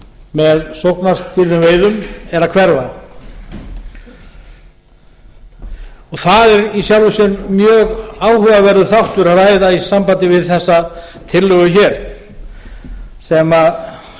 með sóknarstýrðum veiðum er að hverfa og það er í sjálfu sér mjög áhugaverður þáttur að ræða í sambandi við þessa tillögu hér sem